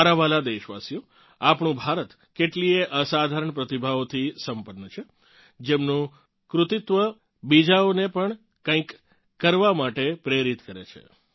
મારા વ્હાલાં દેશવાસીઓ આપણું ભારત કેટલીય અસાધારણ પ્રતિભાઓથી સંપન્ન છે જેમનું કૃતિત્વ બીજાઓને પણ કંઇક કરવા માટે પ્રેરિત કરે છે